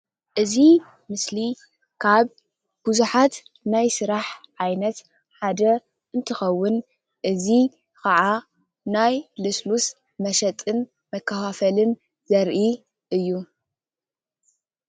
እዚ ምስሊ ካብ ቡዙሓት ናይ ስራሕ ዓይነት ሓደ እንትኸውን እዚ ካኣ ናይ ልስሉሰ መሸጥን መከፋፈልን ዘርኢ እዩ።